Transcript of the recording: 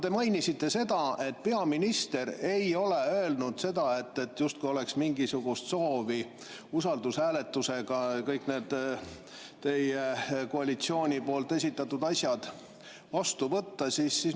Te mainisite, et peaminister ei ole öelnud, justkui oleks mingisugust soovi kõik need teie koalitsiooni esitatud asjad usaldushääletusega vastu võtta.